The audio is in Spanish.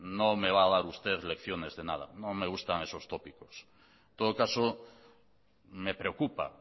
no me va a dar usted lecciones de nada no me gustan esos tópicos en todo caso me preocupa